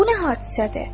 Bu nə hadisədir?